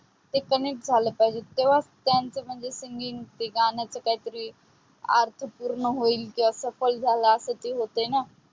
ते connect झालं पाहिजे. तेव्हा त्यांचं म्हणजे ते singing ते गाण specially अर्थपूर्ण होईल. की अस पै झाल अस पण होते ना.